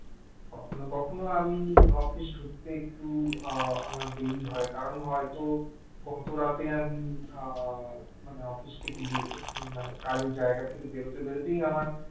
কখনো কখনো আমি office ছুটিতে একটু আমার দেরি হয় কারণ হয়তো অত রাতে আমি মানে office থেকে বেরিয়ে মানে কাজের জায়গা থেকে বেরোতে বেরোতেই আমার